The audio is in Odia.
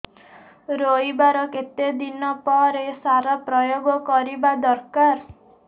ରୋଈବା ର କେତେ ଦିନ ପରେ ସାର ପ୍ରୋୟାଗ କରିବା ଦରକାର